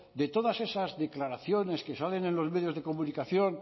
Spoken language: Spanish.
de todas esas declaraciones que salen en los medios de comunicación